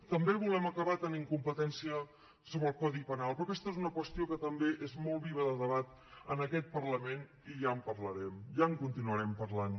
també volem acabar tenint competència sobre el codi penal però aquesta és una qüestió que també és molt viva de debat en aquest parlament i ja en parlarem ja en continuarem parlant